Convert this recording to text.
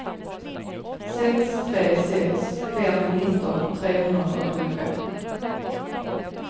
sex tre sex fem nitton trehundrafyrtiofem